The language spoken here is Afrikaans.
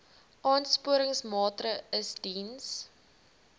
aansporingsmaatre ls diens